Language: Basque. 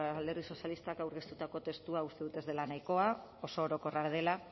alderdi sozialistak aurkeztutako testua uste dut ez dela nahikoa oso orokorra dela